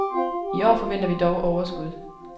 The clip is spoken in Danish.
I år forventer vi dog overskud.